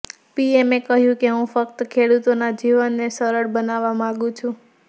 પીએમએ કહ્યું કે હું ફક્ત ખેડૂતોના જીવનને સરળ બનાવવા માંગું છું